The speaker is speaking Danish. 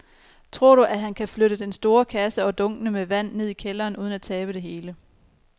Tror du, at han kan flytte den store kasse og dunkene med vand ned i kælderen uden at tabe det hele?